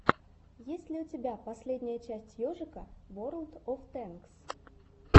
есть ли у тебя последняя часть ежика ворлд оф тэнкс